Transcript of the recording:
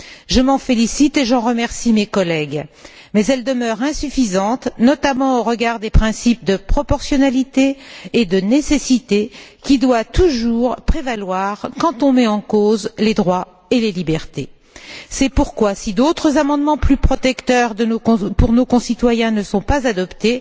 Je m'en félicite et j'en remercie mes collègues, mais elles demeurent insuffisantes, notamment au regard des principes de proportionnalité et de nécessité, qui doivent toujours prévaloir quand on met en cause les droits et les libertés. C'est pourquoi, si d'autres amendements plus protecteurs pour nos concitoyens ne sont pas adoptés,